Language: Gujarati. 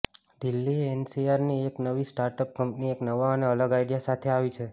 દિલ્હી એનસીઆર ની એક નવી સ્ટાર્ટઅપ કંપની એક નવા અને અલગ આઈડિયા સાથે આવી છે